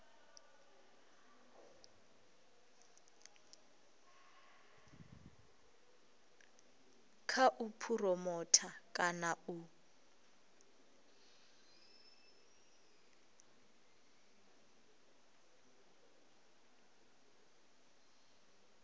kha u phuromotha kana u